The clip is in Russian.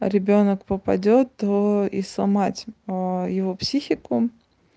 а ребёнок попадёт и сломать его психику